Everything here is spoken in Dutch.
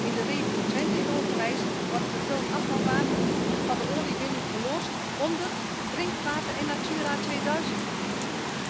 In de regio Twente in Overijssel wordt vervuild afvalwater van de oliewinning geloosd onder drinkwater en Natura 2000 gebieden.